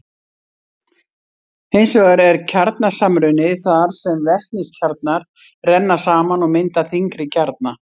Hins vegar er kjarnasamruni þar sem vetniskjarnar renna saman og mynda þyngri kjarna.